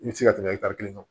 I bɛ se ka tɛmɛ kelen kan